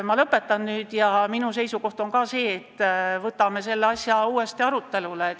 Ma lõpetan nüüd kinnitusega, et minugi seisukoht on see, et võtame selle asja uuesti arutelule.